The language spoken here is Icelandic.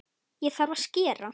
Þá þarf að skera.